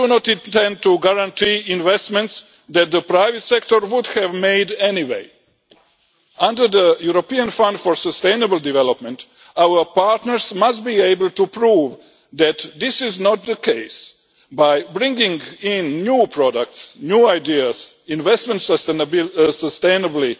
We do not intend to guarantee investments that the private sector would have made anyway. Under the European Fund for Sustainable Development, our partners must be able to prove that this is not the case by bringing in new products, new ideas, investments sustainably